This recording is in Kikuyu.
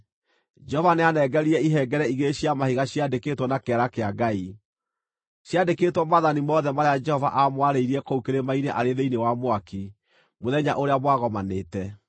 Jehova nĩanengerire ihengere igĩrĩ cia mahiga ciandĩkĩtwo na kĩara kĩa Ngai. Ciandĩkĩtwo maathani mothe marĩa Jehova aamwarĩirie kũu kĩrĩma-inĩ arĩ thĩinĩ wa mwaki, mũthenya ũrĩa mwagomanĩte.